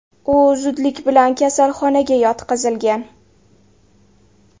U zudlik bilan kasalxonaga yotqizilgan.